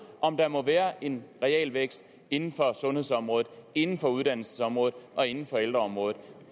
om der må være en realvækst inden for sundhedsområdet inden for uddannelsesområdet og inden for ældreområdet